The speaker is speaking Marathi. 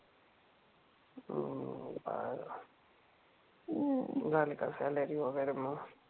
हम्म झाली का सॅलरी वगैरे मग?